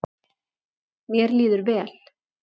Mér líður vel